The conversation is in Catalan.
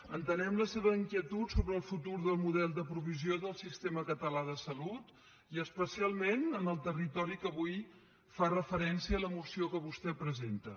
entenem la seva inquietud sobre el futur del model de provisió del sistema català de salut i especialment en el territori a què avui fa referència la moció que vostè presenta